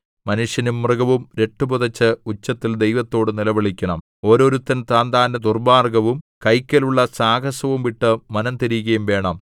മനുഷ്യനും മൃഗവും രട്ടു പുതെച്ച് ഉച്ചത്തിൽ ദൈവത്തോട് നിലവിളിക്കേണം ഓരോരുത്തൻ താന്താന്റെ ദുർമ്മാർഗ്ഗവും കൈക്കലുള്ള സാഹസവും വിട്ട് മനംതിരികയും വേണം